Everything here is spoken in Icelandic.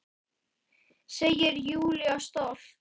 Segir Júlía stolt.